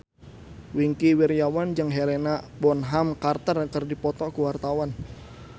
Wingky Wiryawan jeung Helena Bonham Carter keur dipoto ku wartawan